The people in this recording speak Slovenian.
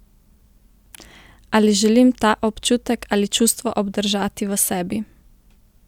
Ali želim ta občutek ali čustvo obdržati v sebi?